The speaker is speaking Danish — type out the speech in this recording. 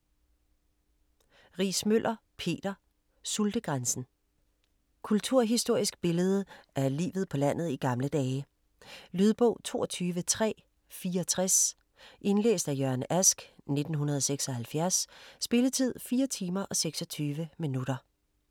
Riismøller, Peter: Sultegrænsen Kulturhistorisk billede af livet på landet i gamle dage. Lydbog 22364 Indlæst af Jørgen Ask, 1976. Spilletid: 4 timer, 26 minutter.